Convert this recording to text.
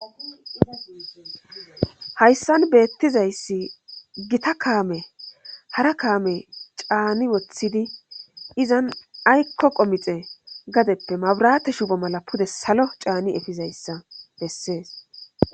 Hayssan beettizayssi gita kaame hara kaame caani woththidi izan aykko qomixe gadeppe mabrate shubo mala pude salo caani efizayssa bessees.